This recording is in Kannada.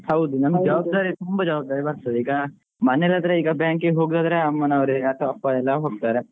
ಹಾ ಹೌದು. ತುಂಬಾ ಜವಾಬ್ದಾರಿ ಬರ್ತದೆ ಈಗ ಮನೇಲಾದ್ರೆ ಈಗ bank ಗೆ ಹೋಗುದು ಆದ್ರೆ ಅಮ್ಮನವ್ರೆ ಅಥವಾ ಅಪ್ಪಯೆಲ್ಲಾ ಹೋಗ್ತಾರೆ